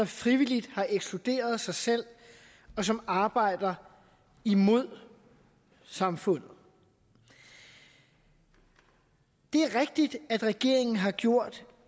frivilligt har ekskluderet sig selv og som arbejder imod samfundet det er rigtigt at regeringen har gjort